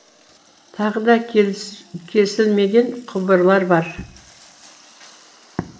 тағы да кесілмеген құбырлар бар